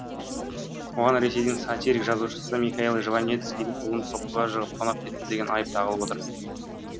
оған ресейдің сатирик жазушысы михаил жванецкийдің ұлын соққыға жығып тонап кетті деген айып тағылып отыр